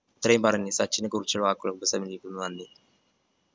ഇത്രയും പറഞ്ഞു സച്ചിനെ കുറിച്ചുള്ള വാക്കുകൾ ഉപസംഹരിക്കുന്നു. നന്ദി.